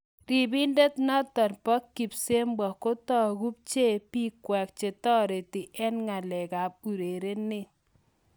Ripindet notok po kipsebwo kotako bcheei pikwak chetareti eng ngalek ap urerindo